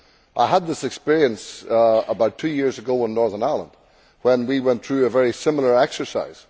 I had this experience about two years ago in Northern Ireland when we went through a very similar exercise.